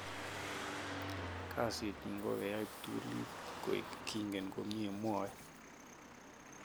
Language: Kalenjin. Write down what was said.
"Kasit nyun kokeyay ptulit koek kingen komnye". mwoe.